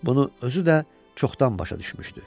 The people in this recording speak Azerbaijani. Bunu özü də çoxdan başa düşmüşdü.